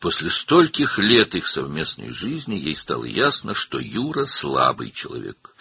Birlikdə yaşadıqları bunca ildən sonra ona aydın oldu ki, Yura zəif bir adamdır.